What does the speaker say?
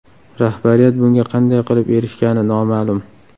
Rahbariyat bunga qanday qilib erishgani noma’lum.